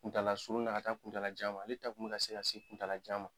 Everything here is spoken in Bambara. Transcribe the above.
Kuntaala surun na ka se kuntaala janma ale ta kun mɛ ka se ka se kuntaala janma.